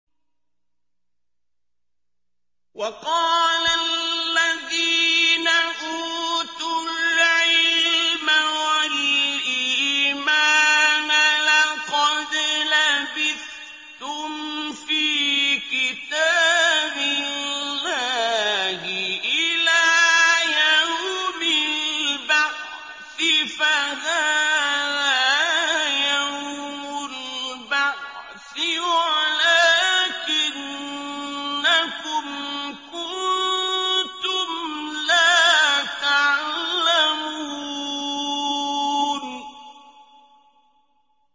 وَقَالَ الَّذِينَ أُوتُوا الْعِلْمَ وَالْإِيمَانَ لَقَدْ لَبِثْتُمْ فِي كِتَابِ اللَّهِ إِلَىٰ يَوْمِ الْبَعْثِ ۖ فَهَٰذَا يَوْمُ الْبَعْثِ وَلَٰكِنَّكُمْ كُنتُمْ لَا تَعْلَمُونَ